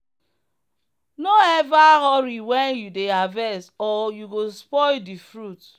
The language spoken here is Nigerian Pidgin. no ever hurry when you dey harvest or you go spoil the fruit.